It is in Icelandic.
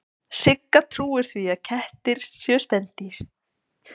Sigga trúir því að kettir séu spendýr.